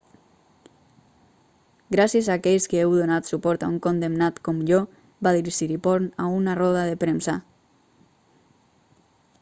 gràcies a aquells que heu donat suport a un condemnat com jo va dir siriporn a una roda de premsa